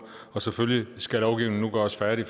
og selvfølgelig skal lovgivningen nu gøres færdig